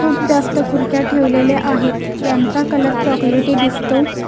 खूप जास्त खुर्च्या ठेवलेले आहेत यांचा कलर चॉकलेटी दिसतो.